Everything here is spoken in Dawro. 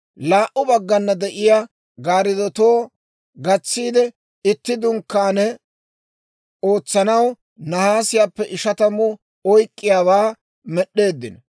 Laa"u baggana de'iyaa gaariddotuwaa gatsiide itti Dunkkaane ootsanaw nahaasiyaappe ishatamu oyk'k'iyaawaa med'd'eeddino.